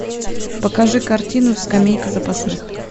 покажи картину скамейка запасных